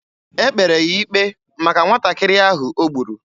E kpere ya ikpe maka nwatakịrị ahụ o gburu.